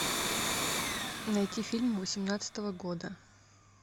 найти фильм восемнадцатого года